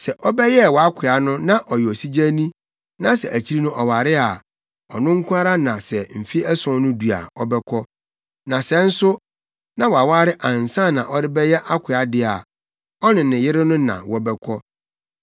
Sɛ ɔbɛyɛɛ wʼakoa no na ɔyɛ osigyani na sɛ akyiri no ɔware a, ɔno nko ara na sɛ mfe ason no du a ɔbɛkɔ. Na sɛ nso na waware ansa na ɔrebɛyɛ akoa de a, ɔne ne yere no na wɔbɛkɔ.